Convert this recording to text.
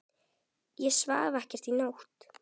Ég svaf ekkert í nótt.